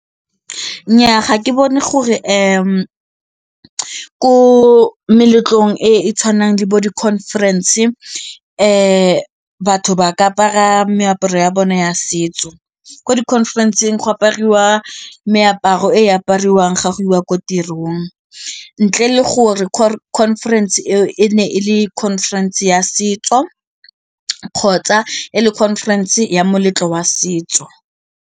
Nnyaa ga ke bone gore ko meletlong e e tshwanang le bo di-conference batho ba ka apara meaparo ya bone ya setso, ko di-conference-ng go apariwa meaparo e apariwang ga go iwa ko tirong ntle le gore conference eo e ne e le conference ya setso kgotsa e le conference ya moletlo wa setso.